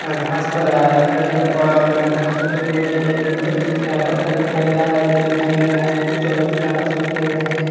यहाँं घास पर हरे -हरे पर घा-घास उगे हुए हैं। एक नीच पत्थर दिखाई दे रा दिखाई दे रहा है। कुछ व्यक्ति आपस में खेल रहे हैं।